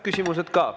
Küsimused ka.